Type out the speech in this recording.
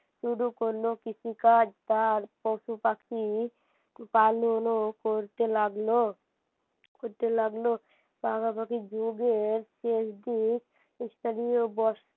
শুরু করল কৃষিকাজ তার পশুপাখি পালন ও করতে লাগল করতে লাগল পাশাপাশি যুগের শেষদিক স্থানীয়